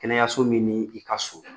Kɛnɛyaso min n'i ka surun